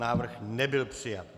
Návrh nebyl přijat.